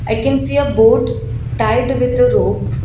i can see a boat tied with the rope.